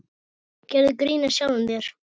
Gerðu grín að sjálfum þér.